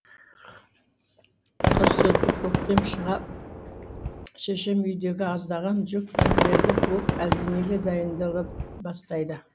қыс өтіп көктем шыға шешем үйдегі аздаған жүк теңдерді буып әлденеге дайындала бастайды